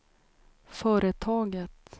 företaget